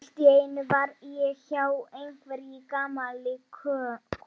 Palli, hvað er í dagatalinu í dag?